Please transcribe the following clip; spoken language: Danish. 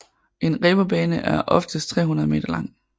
En reberbane er oftest 300 m lang